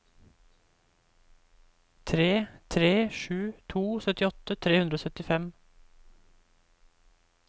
tre tre sju to syttiåtte tre hundre og syttifem